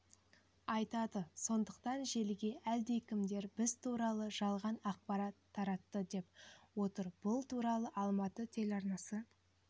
айтады сондықтан желіге әлдекімдер біз туралы жалған ақпарат таратты деп отыр бұл туралы алматы телеарнасы